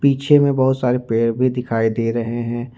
पीछे में बहुत सारे पेड़ भी दिखाई दे रहे हैं।